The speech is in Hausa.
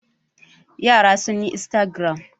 Yara sun yi instagram.